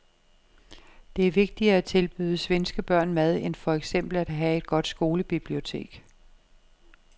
Det er vigtigere at tilbyde svenske børn mad end for eksempel at have et godt skolebibliotek.